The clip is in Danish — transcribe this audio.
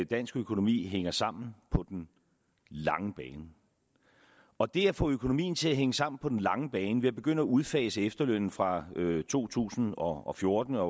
dansk økonomi hænger sammen på den lange bane og det at få økonomien til at hænge sammen på den lange bane ved at begynde at udfase efterlønnen fra to tusind og fjorten og